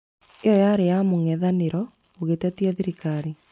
Ĩyo yarĩ ya mũng'ethanĩro ũgĩtetia thirikari